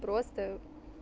просто